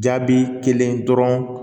Jaabi kelen dɔrɔn